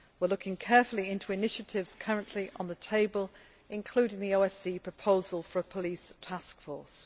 We are looking carefully into initiatives currently on the table, including the OSCE proposal for a police task force.